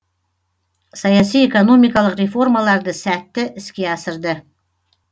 саяси экономикалық реформаларды сәтті іске асырды